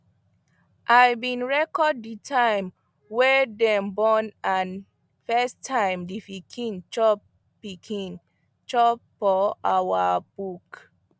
i been record the time wy dem born and first time the pikin chop pikin chop for our book